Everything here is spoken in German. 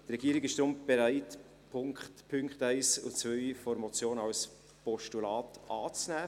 Die Regierung ist deshalb bereit, die Punkte 1 und 2 der Motion als Postulat anzunehmen.